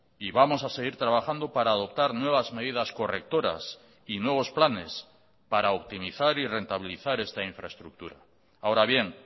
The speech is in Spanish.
y vamos a seguir trabajando para adoptar nuevas medidas correctoras y nuevos planes para optimizar y rentabilizar esta infraestructura ahora bien